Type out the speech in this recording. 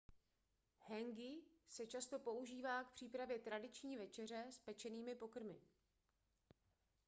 hāngi se často používá k přípravě tradiční večeře s pečenými pokrmy